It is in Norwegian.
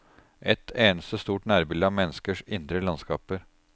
Et eneste stort nærbilde av menneskers indre landskaper.